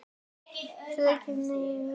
Aðgát, aðgát, ekki mátti nykra.